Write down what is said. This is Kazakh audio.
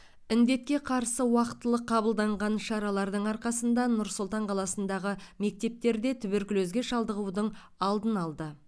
індетке қарсы уақытылы қабылданған шаралардың арқасында нұр сұлтан қаласындағы мектептерде туберкулезге шалдығудың алдын алды